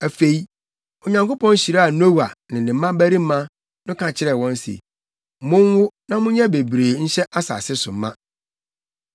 Afei, Onyankopɔn hyiraa Noa ne ne mmabarima no ka kyerɛɛ wɔn se, “Monwo, na monyɛ bebree nhyɛ asase so ma.